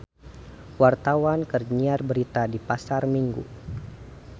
Wartawan keur nyiar berita di Pasar Minggu